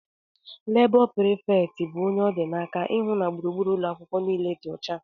Labó preefecti bu ónyé ọ dị n'aka ịhụ na gburugburu ụlọakwụkwọ niile dị ọcha.